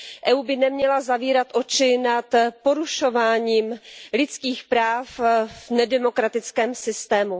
EU by neměla zavírat oči nad porušováním lidských práv v nedemokratickém systému.